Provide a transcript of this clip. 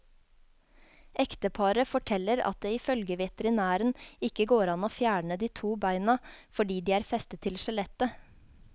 Ekteparet forteller at det ifølge veterinæren ikke går an å fjerne de to beina fordi de er festet til skjelettet.